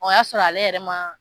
O y'a sɔrɔ ale yɛrɛ ma